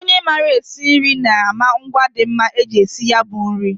Onye maara esi nri na-ama ngwa dị mma iji sie ya bụ nri